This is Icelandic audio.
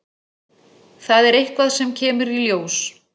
Það er eitthvað sem kemur í ljós.